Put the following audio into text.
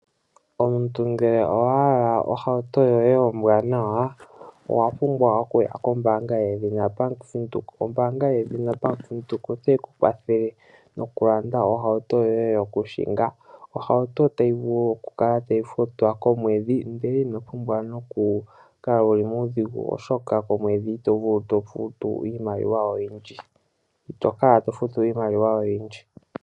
Omuntu ngele owahala ohauto yoye ombwanawa owapumbwa okuya kombaanga yaVenduka . Ombaanga yaVenduka otayi kukwathele nokulanda ohauto yoye yokuhinga. Ohauto tayi vulu okukala tayi futwa komwedhi ndele itokala wuli muudhigu oshoka itokala tofutu iimaliwa oyindji.